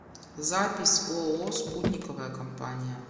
запись ооо спутниковая компания